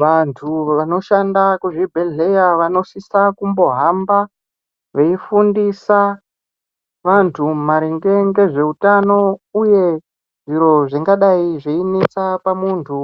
Vantu vanoshanda kuzvibhehleya vanosisa kumbohamba veifundisa vantu maringe ngezveutano uye zviri zvingadai zveinesa pamuntu